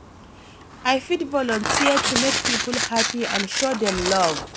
I fit volunteer to make people happy and show dem love.